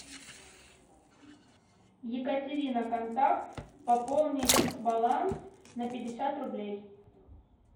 екатерина контакт пополнить баланс на пятьдесят рублей